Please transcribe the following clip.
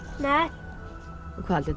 haldið